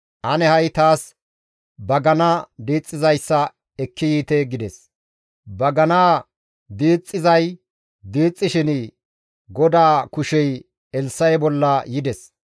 Ane ha7i taas bagana diixxizayssa ekki yiite» gides. Baganaa diixxizay diixxishin GODAA kushey Elssa7e bolla yides.